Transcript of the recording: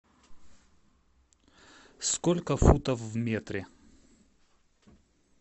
сколько футов в метре